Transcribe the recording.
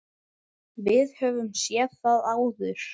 Við höfum séð það áður.